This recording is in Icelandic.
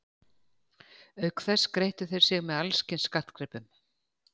Auk þess skreyttu þeir sig með alls kyns skartgripum.